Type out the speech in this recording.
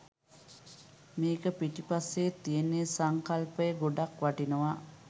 මේක පිටිපස්සේ තියෙන සංකල්පය ගොඩක් වටිනවා.